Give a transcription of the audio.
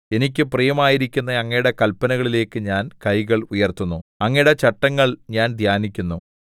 എനിക്ക് പ്രിയമായിരിക്കുന്ന അങ്ങയുടെ കല്പനകളിലേക്ക് ഞാൻ കൈകൾ ഉയർത്തുന്നു അങ്ങയുടെ ചട്ടങ്ങൾ ഞാൻ ധ്യാനിക്കുന്നു സയിൻ